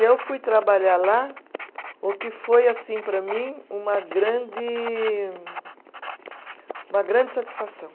E eu fui trabalhar lá, o que foi, assim, para mim, uma grande, uma grande satisfação.